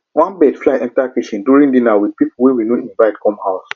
one bird fly enter kitchen window during dinner with people wey we no invite come house